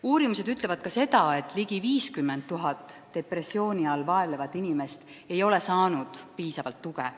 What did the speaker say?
Uurimused ütlevad ka seda, et ligi 50 000 depressiooni all vaevlevat inimest ei ole saanud piisavalt tuge.